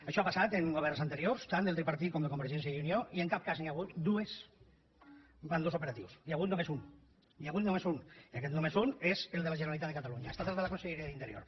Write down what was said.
això ha passat en governs anteriors tant del tripartit com de convergència i unió i en cap cas n’hi ha hagut dues amb dos operatius n’hi ha hagut només un i aquest només un és el de la generalitat de catalunya ha estat el de la conselleria d’interior